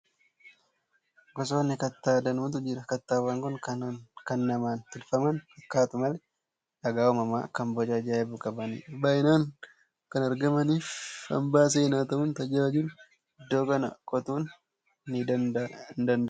Gosoonni kattaa danuutu jiru. Kattaawwan kun kan namaan tolfaman fakkaatu malee, dhagaa uumamaa, kan boca ajaa'ibu qabanidha. Baay'inaan kan argamanii fi hambaa seenaa ta'uun tajaajilu. Iddoo kana qotuun hin danda'amu.